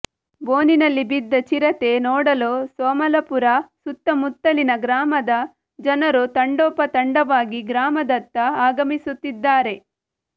ಬೋನಿನಲ್ಲಿ ಬಿದ್ದ ಚಿರತೆ ನೋಡಲು ಸೋಮಲಾಪುರ ಸುತ್ತಮುತ್ತಲಿನ ಗ್ರಾಮದ ಜನರು ತಂಡೋಪ ತಂಡವಾಗಿ ಗ್ರಾಮದತ್ತ ಆಗಮಿಸುತ್ತಿದ್ದಾರೆ